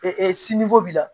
b'i la